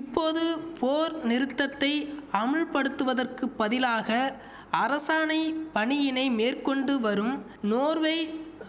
இப்போது போர் நிறுத்தத்தை அமுல்படுத்துவதற்கு பதிலாக அரசாணை பணியினை மேற்கொண்டு வரும் நோர்வை